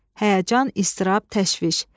həyəcan, istirab, təşviş.